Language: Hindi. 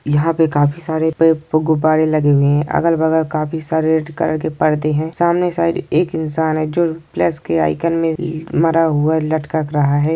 यहाँ पे काफी सारे पे-- गुब्बारे लगे हुए हैंअगल बगल काफी सारे के परदे हैं सामने साइड एक इंसान हैं जो प्लस के आइकन में मरा हुआ लटक रहा हैं।